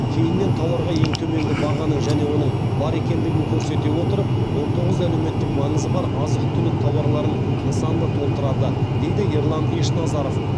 кейіннен тауарға ең төменгі бағаның және оның бар екендігін көрсете отырып он тоғыз әлеуметтік маңызы бар азық түлік тауарларынан нысанды толтырады дейді ерлан ешназаров